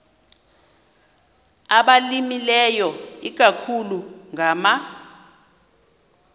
abalimileyo ikakhulu ngama